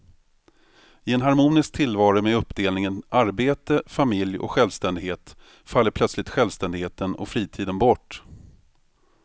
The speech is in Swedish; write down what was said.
I en harmonisk tillvaro med uppdelningen arbete, familj och självständighet faller plötsligt självständigheten och fritiden bort.